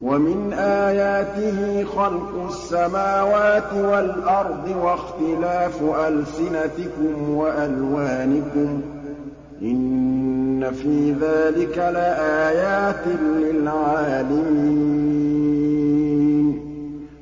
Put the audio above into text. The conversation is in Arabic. وَمِنْ آيَاتِهِ خَلْقُ السَّمَاوَاتِ وَالْأَرْضِ وَاخْتِلَافُ أَلْسِنَتِكُمْ وَأَلْوَانِكُمْ ۚ إِنَّ فِي ذَٰلِكَ لَآيَاتٍ لِّلْعَالِمِينَ